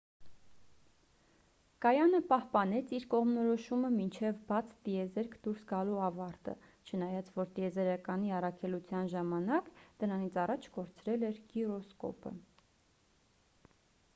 կայանը պահպանեց իր կողմնորոշումը մինչև բաց տիեզերք դուրս գալու ավարտը չնայած որ տիեզերակայանի առաքելության ժամանակ դրանից առաջ կորցրել էր գիրոսկոպը